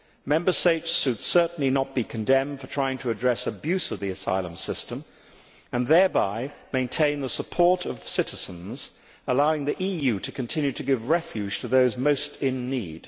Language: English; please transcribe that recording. Member States should certainly not be condemned for trying to address abuse of the asylum system and thereby maintain the support of citizens, allowing the EU to continue to give refuge to those most in need.